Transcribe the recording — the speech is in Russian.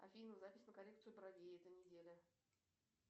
афина запись на коррекцию бровей эта неделя